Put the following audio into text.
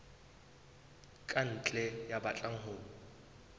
ka ntle ya batlang ho